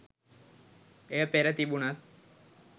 එය පෙර තිබුණත්